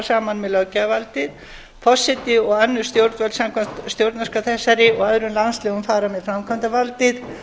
saman með löggjafarvaldið forseti og önnur stjórnarvöld samkvæmt stjórnarskrá þessari og öðrum landslögum fara með framkvæmdarvaldið